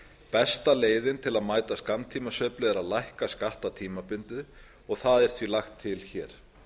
besta leiðin til að mæta skammtímasveiflu er að lækka skatta tímabundið og það er því lagt til hér